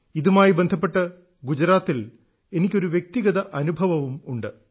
ഇതുമായി ബന്ധപ്പെട്ട് ഗുജറാത്തിൽ എനിക്കൊരു വ്യക്തിഗത അനുഭവവും ഉണ്ട്